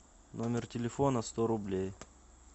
номер телефона сто рублей